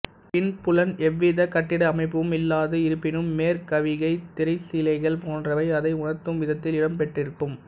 பின்புலன் எவ்விதக் கட்டிட அமைப்பும் இல்லாது இருப்பினும் மேற்கவிகை திரைசீலைகள் போன்றவை அதை உணர்த்தும் விதத்தில் இடம் பெற்றிருக்கும்